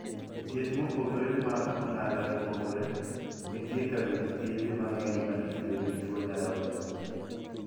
Thieth mopogore mag ong'ala mopogore. Nitie kabind thiedhe mang'eny ma itudo gi tuo nyarogno.